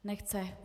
Nechce.